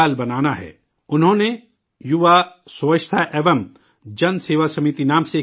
انہوں نے یوا سووچھتا ایوم جن سیوا سمیتی نام سے ایک تنظیم بنائی